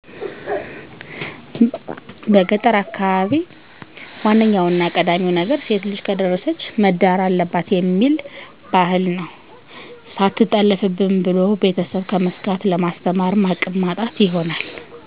ዋነኛውና ቀዳሚው ነገር ሴትልጅ ከደረሰች መዳር አለባትእሚል ቢህል ነው ሰትጠለፋብን ብሎ ቤተስብ ከመስጋት ለማስተማርም አቅም ማጣት ይሆናል